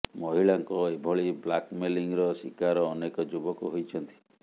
ମହିଳାଙ୍କ ଏଭଳି ବ୍ଲାକମେଲିଂ ର ଶିକାର ଅନେକ ଯୁବକ ହୋଇଛନ୍ତି